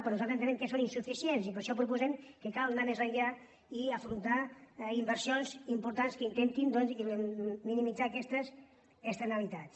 però nosaltres entenem que són insuficients i per això proposem que cal anar més enllà i afrontar inversions importants que intentin doncs minimitzar aquestes externalitats